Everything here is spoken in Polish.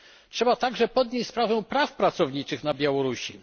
prasę. Trzeba także podnieść sprawę praw pracowniczych na Białorusi.